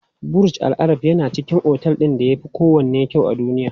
Burj Al Arab yana cikin otel ɗin da yafi kowanne kyau a duniya.